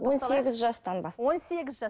он сегіз жастан бастап он сегіз жастан